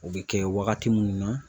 O be kɛ wagati munnu na